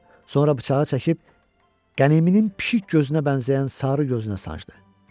Sonra bıçağı çəkib qəniminin pişik gözünə bənzəyən sarı gözünə sancdı.